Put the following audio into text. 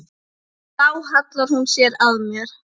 Og þá hallar hún sér að mér.